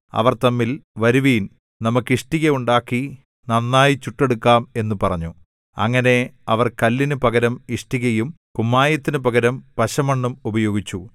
അവർ തമ്മിൽ വരുവിൻ നമുക്ക് ഇഷ്ടിക ഉണ്ടാക്കി നന്നായി ചുട്ടെടുക്കാം എന്നു പറഞ്ഞു അങ്ങനെ അവർ കല്ലിനു പകരം ഇഷ്ടികയും കുമ്മായത്തിനു പകരം പശമണ്ണും ഉപയോഗിച്ചു